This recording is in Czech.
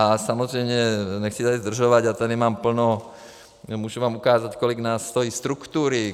A samozřejmě, nechci tady zdržovat, já tady mám plno - můžu vám ukázat, kolik nás stojí struktury.